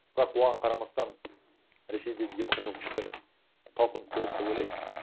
бірақ оған қарамастан ресейдігі демократиялық күштер талпыңып көреді деп ойлаймын